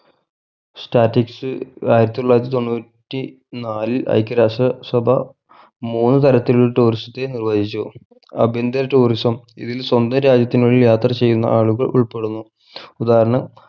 statics ആയിരത്തിതൊള്ളായിരത്തി തൊണ്ണൂറ്റി നാലിൽ എയ്ക്യ രാഷ്ട്ര സഭ മൂന്ന്‌ തരത്തിൽ tourist നിർവഹിച്ചു ആഭ്യന്തര tourism ഇതിൽ സ്വന്തം രാജ്യത്തിനുള്ളിൽ യാത്ര ചെയ്യുന്ന ആളുകൾ ഉൾപ്പെടുന്നു ഉദാഹരണം